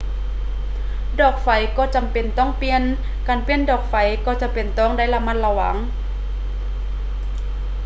ດອກໄຟກໍຈໍາເປັນຕ້ອງປ່ຽນ ການປ່ຽນດອກໄຟກໍຈໍາເປັນຕ້ອງໄດ້ລະມັດລະວັງ